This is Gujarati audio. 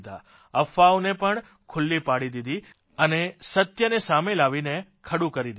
અફવાઓને પણ ખુલ્લી પાડી દીધી અને સત્યને સામે લાવીને ખડું કરી દીધું